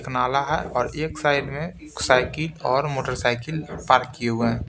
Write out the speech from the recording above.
नाला है और एक साइड में साइकिल और मोटरसाइकिल पार्क किए हुए हैं।